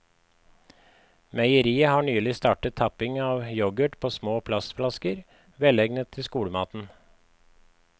Meieriet har nylig startet tapping av yoghurt på små plastflasker, velegnet til skolematen.